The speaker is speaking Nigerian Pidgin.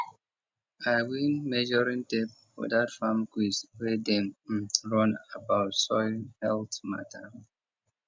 i win measuring tape for that farm quiz wey dem um run about soil health matter